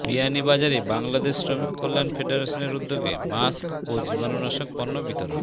বিয়ানীবাজারে বাংলাদেশ শ্রমিক কল্যাণ ফেডারেশনের উদ্যোগে মাস্ক ও জীবাণুনাশক পণ্য বিতরণ